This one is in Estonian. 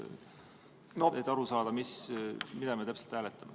Küsin selleks, et aru saada, mida me täpselt hääletame.